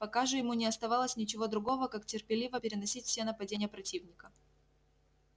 пока же ему не оставалось ничего другого как терпеливо переносить все нападения противника